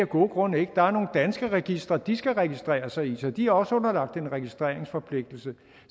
gode grunde der er nogle danske registre de skal registrere sig i så de er også underlagt en registreringsforpligtelse